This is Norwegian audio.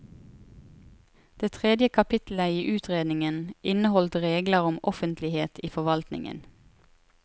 Det tredje kapitlet i utredningen inneholdt regler om offentlighet i forvaltningen.